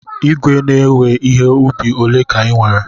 Ìgwè na-ewe ihe ubi ole ka ị nwere?